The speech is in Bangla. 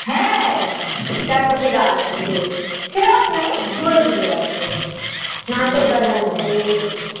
হ্যাঁ চার পশে গাছ আছে সেরম নেই দূরে দূরে আছে নারকেল গাছ আছে